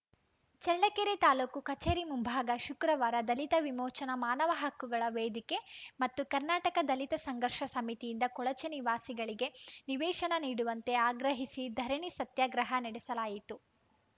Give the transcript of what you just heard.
ಚಳ್ಳಕೆರೆ ತಾಲೂಕು ಕಚೇರಿ ಮುಂಭಾಗ ಶುಕ್ರವಾರ ದಲಿತ ವಿಮೋಚನಾ ಮಾನವ ಹಕ್ಕುಗಳ ವೇದಿಕೆ ಮತ್ತು ಕರ್ನಾಟಕ ದಲಿತ ಸಂಘರ್ಷ ಸಮಿತಿಯಿಂದ ಕೊಳಚೆ ನಿವಾಸಿಗಳಿಗೆ ನಿವೇಶನ ನೀಡುವಂತೆ ಆಗ್ರಹಿಸಿ ಧರಣಿ ಸತ್ಯಾಗ್ರಹ ನಡೆಸಲಾಯಿತು